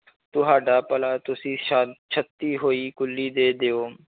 ਤੁਹਾਡਾ ਭਲਾ ਤੁਸੀਂ ਸਾ~ ਛੱਤੀ ਹੋਈ ਕੁੱਲੀ ਦੇ ਦਿਓ